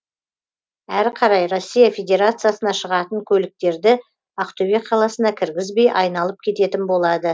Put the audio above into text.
әрі қарай россия федерациясына шығатын көліктерді ақтөбе қаласына кіргізбей айналып кететін болады